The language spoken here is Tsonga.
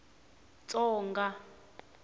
tsonga